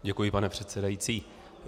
Děkuji, pane předsedající.